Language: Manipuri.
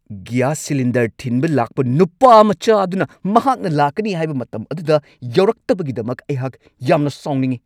ꯒ꯭ꯌꯥꯁ ꯁꯤꯂꯤꯟꯗꯔ ꯊꯤꯟꯕ ꯂꯥꯛꯄ ꯅꯨꯄꯥ ꯃꯆꯥ ꯑꯗꯨꯅ ꯃꯍꯥꯛꯅ ꯂꯥꯛꯀꯅꯤ ꯍꯥꯏꯕ ꯃꯇꯝ ꯑꯗꯨꯗ ꯌꯧꯔꯛꯇꯕꯒꯤꯗꯃꯛ ꯑꯩꯍꯥꯛ ꯌꯥꯝꯅ ꯁꯥꯎꯅꯤꯡꯉꯤ ꯫